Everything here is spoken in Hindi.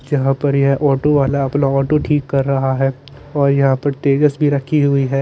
जहा पर ये ऑटो वाला अपना ऑटो ठीक कर रहा है और यहाँ पर तेवियस भी रखी हुई है।